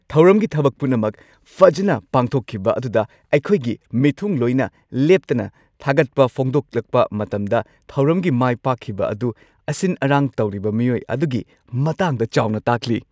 ꯊꯧꯔꯝꯒꯤ ꯊꯕꯛ ꯄꯨꯝꯅꯃꯛ ꯐꯖꯅ ꯄꯥꯡꯊꯣꯛꯈꯤꯕ ꯑꯗꯨꯗ ꯑꯩꯈꯣꯏꯒꯤ ꯈꯨꯐꯝꯗꯨꯗ ꯂꯦꯞꯇꯅ ꯊꯥꯒꯠꯄ ꯐꯣꯡꯗꯣꯛꯂꯛꯄ ꯃꯇꯝꯗ ꯊꯧꯔꯝꯒꯤ ꯃꯥꯏꯄꯥꯛꯈꯤꯕ ꯑꯗꯨ ꯑꯁꯤꯟ-ꯑꯔꯥꯡ ꯇꯧꯔꯤꯕ ꯃꯤꯑꯣꯏ ꯑꯗꯨꯒꯤ ꯃꯇꯥꯡꯗ ꯆꯥꯎꯅ ꯇꯥꯛꯂꯤ ꯫